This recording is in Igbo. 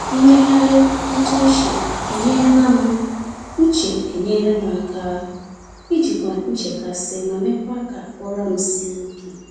Mmegharị ntụ uche enyela m uche enyela m aka ijikwa nchekasị ma mekwa ka ụra m sie ike.